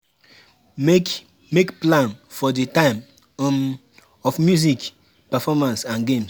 Make Make plan for di type um of music, performance and games